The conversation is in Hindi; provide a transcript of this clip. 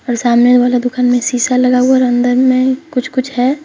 और सामने वाला दुकान में शीशा लगा हुआ और अंदर में कुछ कुछ है।